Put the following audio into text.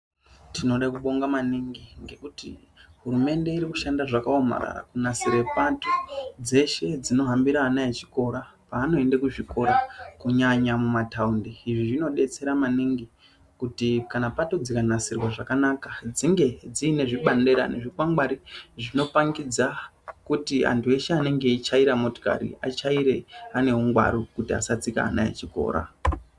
Tinoda kubonga maningi hurumende iri kushanda zvakaomarara kunasira pato dzeshe dzinohambira ana echikora panoenda kuzvikora kunyanya mataundi izvi zvinodestera maningi kuti pato dzikanasirwa zvakanaka dzinge dzine zvibandirani zvikwangwari zvinoratidza kuti antu anenge achityaira motokari atyaire ane ungwaru kuti asatsika vana vechikora.